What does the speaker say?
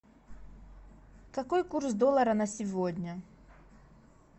какой курс доллара на сегодня